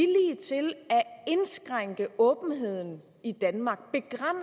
er at indskrænke åbenheden i danmark